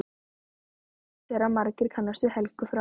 Augljóst er að margir kannast við Helgu frá